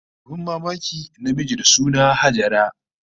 Abin mamaki, namiji da suna Hajara